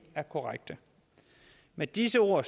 er korrekte med disse ord